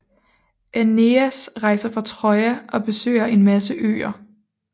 Æneas rejser fra Troja og besøger en masse øer